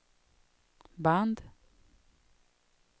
band